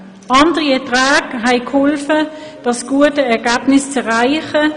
Andere Erträge haben geholfen, dieses gute Ergebnis zu erreichen.